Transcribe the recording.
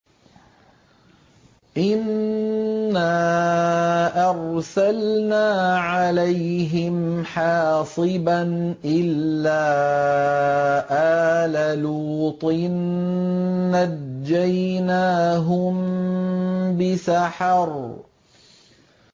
إِنَّا أَرْسَلْنَا عَلَيْهِمْ حَاصِبًا إِلَّا آلَ لُوطٍ ۖ نَّجَّيْنَاهُم بِسَحَرٍ